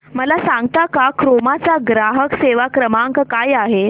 मला सांगता का क्रोमा चा ग्राहक सेवा क्रमांक काय आहे